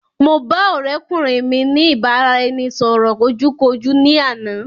Mo ba ọ̀rẹ́kùnrin mi ní ìbáraẹnisọ̀rọ̀ ojú kojú ní àná